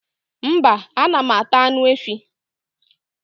mba, anam ata anụ efi